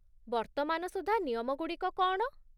ବର୍ତ୍ତମାନ ସୁଦ୍ଧା ନିୟମଗୁଡ଼ିକ କ'ଣ?